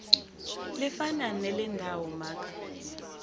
lifana nelendawo maka